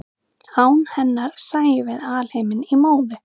án hennar sæjum við alheiminn í móðu